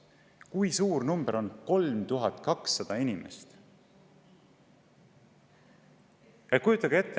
Kui suur arv on 3200 inimest!